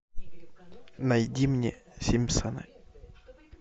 найди мне симпсоны